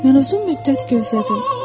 Mən uzun müddət gözlədim.